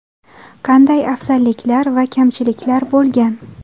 Qanday afzalliklar va kamchiliklar bo‘lgan?